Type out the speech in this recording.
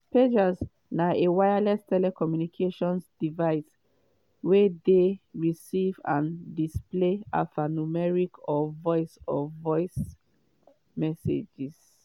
pager na a wireless telecommunications device wey dey receive and displays alphanumeric or voice or voice messages.